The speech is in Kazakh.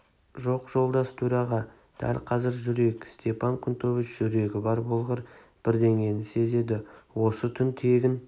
жоқ жолдас төраға дәл қазір жүрейік степан кнутович жүрегі бар болғыр бірдеңені сезеді осы түн тегін